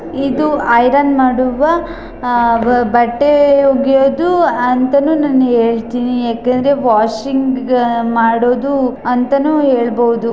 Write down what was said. ಇದು ಐರನ್ ಮಾಡುವ ಬಟ್ಟೆ ಒಗೆಯುವುದು ಅಂತನು ಹೇಳ್ತೀನಿ ಯಾಕಂದ್ರೆ ವಾಷಿಂಗ್ ಮಾಡೋದು ಅಂತಾನೂ ಹೇಳಬಹುದು.